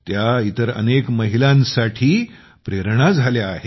ती इतर अनेक महिलांसाठी प्रेरणा बनली आहे